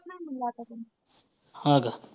हां का.